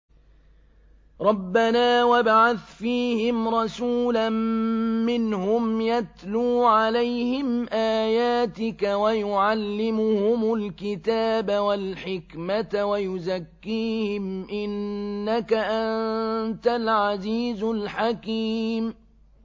رَبَّنَا وَابْعَثْ فِيهِمْ رَسُولًا مِّنْهُمْ يَتْلُو عَلَيْهِمْ آيَاتِكَ وَيُعَلِّمُهُمُ الْكِتَابَ وَالْحِكْمَةَ وَيُزَكِّيهِمْ ۚ إِنَّكَ أَنتَ الْعَزِيزُ الْحَكِيمُ